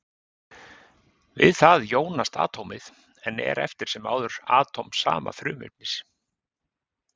Við það jónast atómið, en er eftir sem áður atóm sama frumefnis.